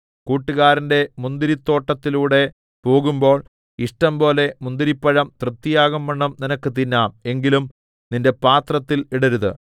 കൂട്ടുകാരന്റെ മുന്തിരിത്തോട്ടത്തിലൂടെ പോകുമ്പോൾ ഇഷ്ടംപോലെ മുന്തിരിപ്പഴം തൃപ്തിയാകുംവണ്ണം നിനക്ക് തിന്നാം എങ്കിലും നിന്റെ പാത്രത്തിൽ ഇടരുത്